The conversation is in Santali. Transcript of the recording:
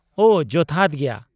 -ᱳ ᱡᱚᱛᱷᱟᱛ ᱜᱮᱭᱟ ᱾